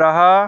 रहा--